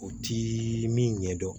O ti min ɲɛdɔn